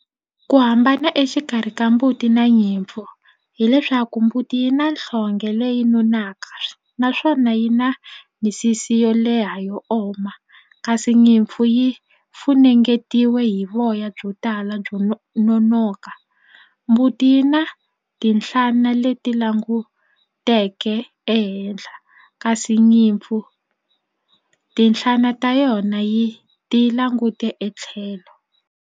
Ku hambana exikarhi ka mbuti na nyimpfu hileswaku mbuti yi na nhlonge leyi nonakaka naswona yi na misisi yo leha yo oma kasi nyimpfu yi funengetiwe hi voya byo tala byo nonoka mbuti yi na tinhlana leti languteke ehenhla kasi nyimpfu tinhlana ta yona yi ti langute etlhelo.